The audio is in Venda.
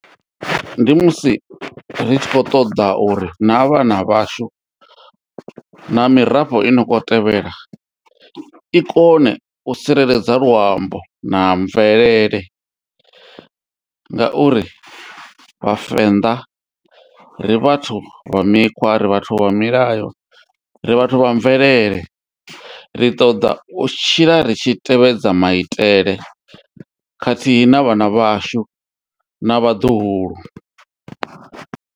Ndi musi ri tshi khou ṱoḓa uri na vhana vhashu na i no khou tevhela i kone u tsireledza luambo na mvelele ngauri vhavenḓa, ri vhathu vha mikhwa, ri vhathu vha milayo, ri vhathu vha mvelele ri ṱoḓa u tshila ri tshi tevhedza maitele khathihi na vhana vhashu na vhaḓuhulu